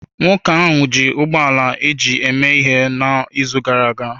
Nwoke ahụ ji ụgbọ ala eji eme ihe n'izu gara aga.